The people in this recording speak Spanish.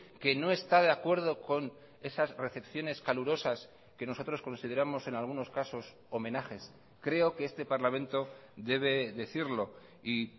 que no está de acuerdo con esas recepciones calurosas que nosotros consideramos en algunos casos homenajes creo que este parlamento debe decirlo y